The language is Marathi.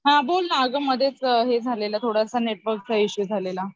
हा बोल ना अगं मध्येच हे झालेलं थोडसं नेटवर्क इशू झालेला